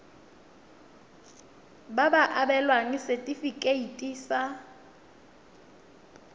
ba ka abelwa setefikeiti sa